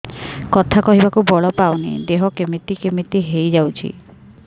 କଥା କହିବାକୁ ବଳ ପାଉନି ଦେହ କେମିତି କେମିତି ହେଇଯାଉଛି